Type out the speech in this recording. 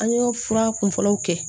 An y'o fura kun fɔlɔw kɛ